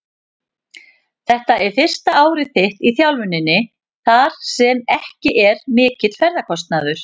Þetta er fyrsta árið þitt í þjálfuninni þar sem ekki er mikill ferðakostnaður?